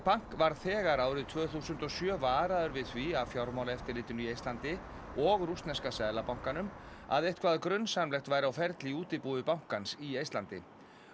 Bank var þegar árið tvö þúsund og sjö varaður við því af Fjármálaeftirlitinu í Eistlandi og rússneska seðlabankanum að eitthvað grunsamlegt væri á ferli í útibúi bankans í Eistlandi